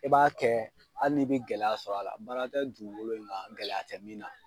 I b'a kɛ halii n'i bɛ gɛlɛya sɔrɔ a la baara tɛ dugukolo in kan gɛlɛya tɛ min na.